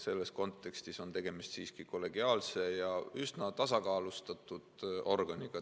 Selles kontekstis on tegemist siiski kollegiaalse ja üsna tasakaalustatud organiga.